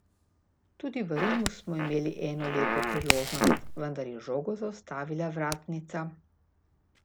Tudi v Rimu smo imeli eno lepo priložnost, vendar je žogo zaustavila vratnica.